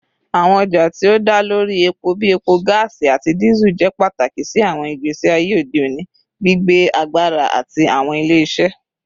Awọn ọja ti o da lori epo bii epo, gaasi, ati Diesel jẹ pataki si awọn igbesi aye ode oni, gbigbe agbara ati awọn ile-iṣẹ